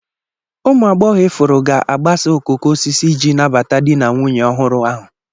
Ụmụ agbọghọ ifuru ga-agbasa okooko osisi iji nabata di na nwunye ọhụrụ ahụ. kk